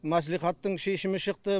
мәслихаттың шешімі шықты